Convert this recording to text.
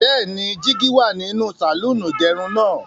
Bẹ́ẹ̀ni, jígí wà nínú sàlọ́ọ̀nì ìgẹrun náà.